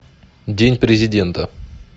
день президента